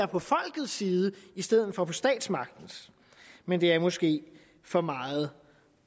på folkets side i stedet for på statsmagtens men det er måske for meget